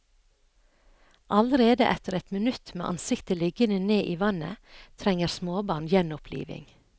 Allerede etter ett minutt med ansiktet liggende ned i vannet trenger småbarn gjenopplivning.